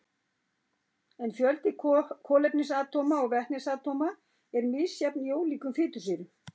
En fjöldi kolefnisatóma og vetnisatóma er misjafn í ólíkum fitusýrum.